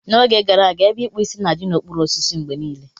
N'oge gara aga, ebe ikpu Ịsị na-adị n'okpuru osisi mgbe niile.